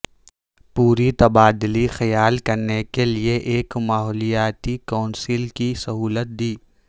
پر تبادلہ خیال کرنے کے لئے ایک ماحولیاتی کونسل کی سہولت دی